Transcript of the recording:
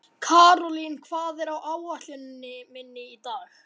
Karólín, hvað er á áætluninni minni í dag?